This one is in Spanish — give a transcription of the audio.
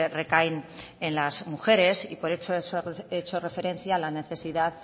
recaen en las mujeres y por eso he hecho referencia a la necesidad